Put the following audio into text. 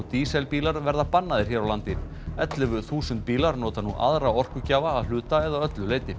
dísilbílar verða bannaðir hér á landi ellefu þúsund bílar nota nú aðra orkugjafa að hluta eða öllu leyti